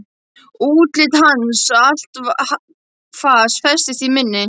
Útlit hans og allt fas festist í minni.